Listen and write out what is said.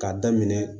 K'a daminɛ